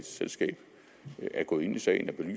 selskab er gået ind i sagen